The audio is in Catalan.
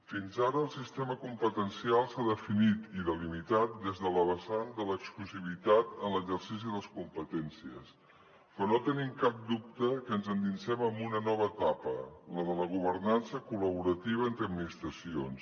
fins ara el sistema competencial s’ha definit i delimitat des de la vessant de l’exclusivitat en l’exercici de les competències però no tenim cap dubte que ens endinsem en una nova etapa la de la governança col·laborativa entre administracions